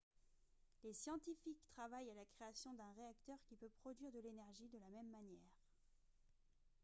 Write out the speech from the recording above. les scientifiques travaillent à la création d'un réacteur qui peut produire de l'énergie de la même manière